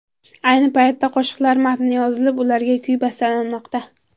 Ayni paytda qo‘shiqlar matni yozilib, ularga kuy bastalanmoqda.